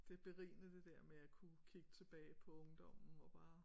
Det er berigende det der med at kunne kigge tilbage på ungdommen og bare